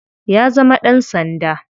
Ya zama dan sanda.